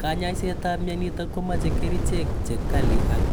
Kanyaiset ap mnyonitok komeche Kerichek�chekali ak